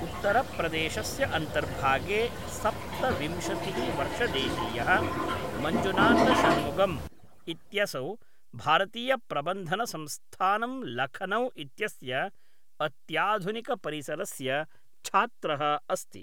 उत्तरप्रदेशस्य अन्तर्भागे सप्तविंशतिः वर्षदेशीयः मञ्जुनाथशन्मुगम् इत्यसौ भारतीयप्रबन्धनसंस्थानं लखनौ इत्यस्य अत्याधुनिकपरिसरस्य छात्रः अस्ति।